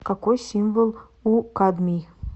какой символ у кадмий